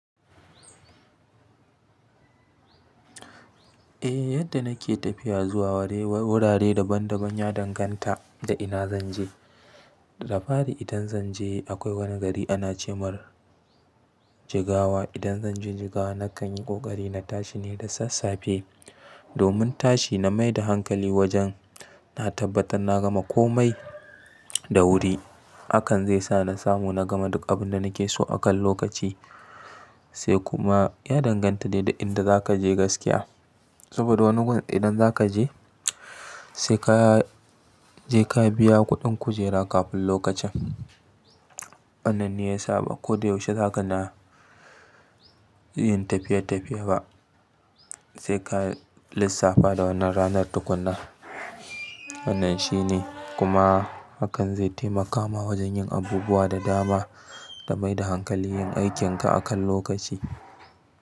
Eh yadda nake tafiya zuwa wurare daban daban ya danganta da ina zanje. Dafari idan zanje akwai wani gari ana ce mar jigawa. Idan zanje jigawa na kan yi ƙoƙari na tashi ne da sassafe. Domin tashi na mai da hankali wajen na tabbatar na gama komai da wuri. Akan zai sa na samu na gama duk abin da nake so akan lokaci. Sai kuma ya danganta ne da inda za ka je gaskiya. Saboda wani gun idan za ka je sai ka je ka biya kuɗin kujera kafin lokacin. Wannan ne ya sa ba ko da yaushe za ka na yin tafiye tafiye ba. Sai ka lissafa da wannan ranar tukunna. Wannan shi ne kuma hakan zai taimakama wajen yin abubuwa da dama da mai da hankali yin aikin ka akan lokaci.